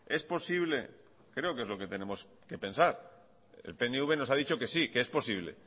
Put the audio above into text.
es posible creo que es lo que tenemos que pensar el pnv nos ha dicho que sí que es posible